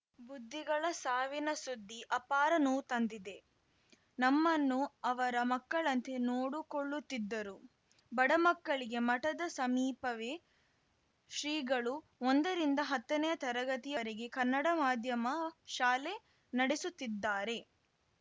ಬುದ್ಧಿಗಳ ಸಾವಿನ ಸುದ್ದಿ ಅಪಾರ ನೋವು ತಂದಿದೆ ನಮ್ಮನ್ನು ಅವರ ಮಕ್ಕಳಂತೆ ನೋಡಿಕೊಳ್ಳುತ್ತಿದ್ದರು ಬಡಮಕ್ಕಳಿಗೆ ಮಠದ ಸಮೀಪವೇ ಶ್ರೀಗಳು ಒಂದರಿಂದ ಹತ್ತನೇ ತರಗತಿ ವರೆಗೆ ಕನ್ನಡ ಮಾಧ್ಯಮ ಶಾಲೆ ನಡೆಸುತ್ತಿದ್ದಾರೆ